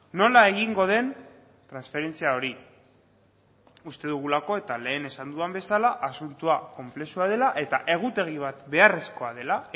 nola egingo den transferentzia hori uste dugulako eta lehen esan dudan bezala asuntoa konplexua dela eta egutegi bat beharrezkoa dela